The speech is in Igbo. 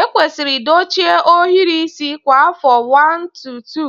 Ekwesịrị dochie ohiri isi kwa afọ 1-2